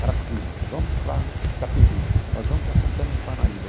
Carapicuíba, nós vamos para Itapevi, nós vamos para Santana e Parnaíba.